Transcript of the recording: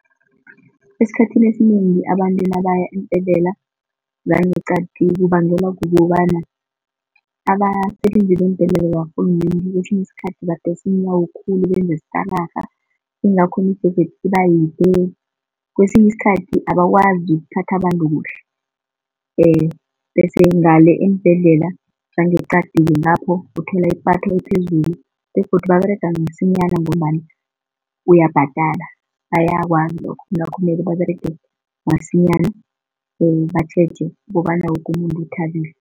Esikhathini esinengi abantu nabaya eembhedlela zangeqadi kubangelwa kukobana abasebenzi bembhedlela zakarhulumende kwesinye isikhathi badosa iinyawo khulu benze stararha ingakho imijeje ibayide. Kwesinye isikhathi abakwazi ukuphatha abantu kuhle, bese ngale eembhedlela zangeqadi kulapho uthola ipatho ephezulu begodu baberega msinyana ngombana uyabhadala bayakwazi lokhu. Kungakho kumele baberege masinyana batjheje kobana woke umuntu uthabile.